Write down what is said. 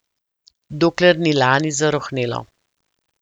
Dokler ni lani zarohnelo.